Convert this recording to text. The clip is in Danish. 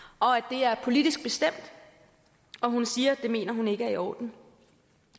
er politisk bestemt og hun siger at det mener hun ikke er i orden